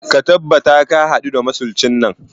Ka tabbata ka hadu da masuncin nan